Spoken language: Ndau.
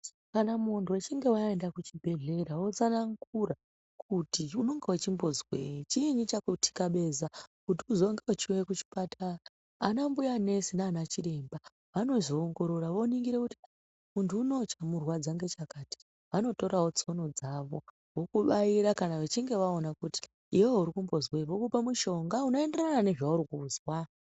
Kana muntu wechinge waenda kuchibhehlera wotsanangura kuti unenge uchimbozwei chiinyi chakutyabeza, kuti uzonge uchiuya kuchipatara. Anambuya nesi naana chiremba vanozoongorora vonongire kuti muntu unowu chamurwadza ngechakati. Vanotorawo tsono dzavo vokubaira kana vechinge vaona kuti iwewe urikumbozwei vokupe mushonga unoenderana nezvaurikuzwa.